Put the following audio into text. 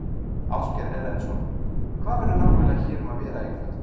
Ásgeir Erlendsson: Hvað verður nákvæmlega hér um að vera í kvöld?